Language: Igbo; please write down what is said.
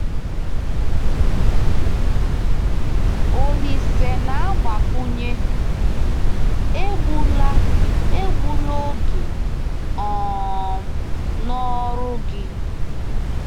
Olise na-agbakwunye: “Egbula “Egbula oge um n’ọrụ gị.”